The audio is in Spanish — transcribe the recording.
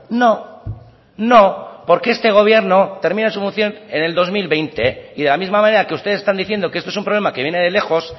no no porque este gobierno termina su moción en el dos mil veinte y de la misma manera que ustedes están diciendo que esto es un problema que viene de lejos